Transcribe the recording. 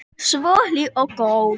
Svo hlý og góð.